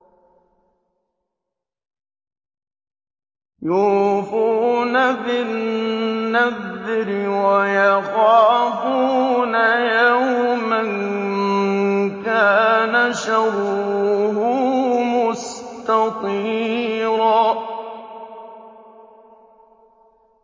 يُوفُونَ بِالنَّذْرِ وَيَخَافُونَ يَوْمًا كَانَ شَرُّهُ مُسْتَطِيرًا